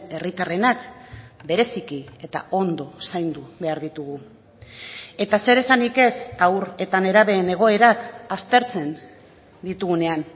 herritarrenak bereziki eta ondo zaindu behar ditugu eta zer esanik ez haur eta nerabeen egoerak aztertzen ditugunean